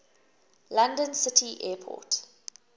london city airport